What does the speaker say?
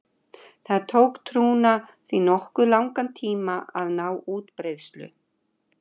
Það tók trúna því nokkuð langan tíma að ná útbreiðslu.